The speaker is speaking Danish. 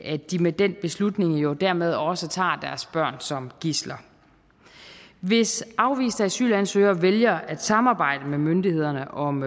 at de med den beslutning jo dermed også tager deres børn som gidsler hvis afviste asylansøgere vælger at samarbejde med myndighederne om